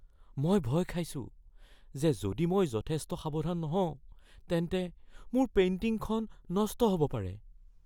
মই ভয় খাইছো যে যদি মই যথেষ্ট সাৱধান নহওঁ তেন্তে মোৰ পেইণ্টিংখন নষ্ট হ'ব পাৰে।